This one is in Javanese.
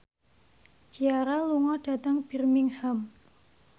Ciara lunga dhateng Birmingham